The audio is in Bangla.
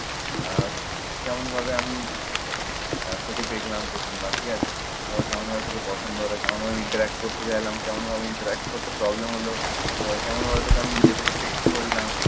আহ কেমনভাবে আমি তোকে দেখলাম প্রথমবার ঠিক আছে, তারপর তোকে কেমন ভাবে তোকে পছন্দ হলো কেমন ভাবে interact করতে চাইলাম, কেমন ভাবে interact করতে problem হলো, কেমন ভাবে আমি তোকে নিজে থেকে text করলাম